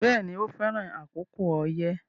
Bẹ́ẹ̀ni, o fẹran àkókò oyẹ